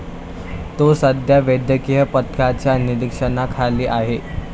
तो सध्या वैद्यकीय पथकाच्या निरीक्षणाखाली आहे.